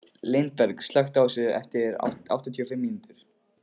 Lindberg, slökktu á þessu eftir áttatíu og fimm mínútur.